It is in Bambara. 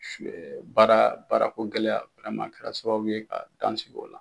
baara baarako gɛlɛya a kɛra sababu ye ka dan sigi o la.